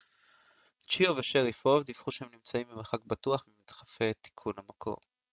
צ'יאו ושריפוב דיווחו שהם נמצאים במרחק בטוח ממדחפי תיקון המיקום